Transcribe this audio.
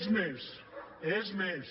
és més és més